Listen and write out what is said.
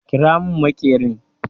Ƙira mun maƙerin!